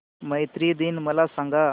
मैत्री दिन मला सांगा